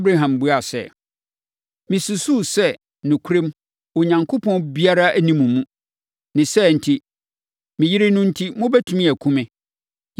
Abraham buaa sɛ, “Mesusuu sɛ, nokorɛm, Onyankopɔn biara nni mo mu, ne saa enti, me yere enti, mobɛtumi akum me.